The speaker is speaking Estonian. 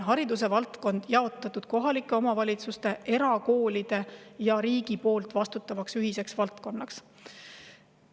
Hariduse valdkond on meil jagatud kohalike omavalitsuste, era ja riigi vahel ning on nende ühisel vastutusel.